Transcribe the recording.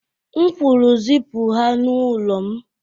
M kwuru zipụ ha n'ụlọ m.